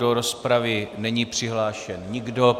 Do rozpravy není přihlášen nikdo.